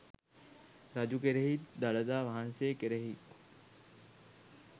රජු කෙරෙහිත් දළදා වහන්සේ කෙරෙහිත්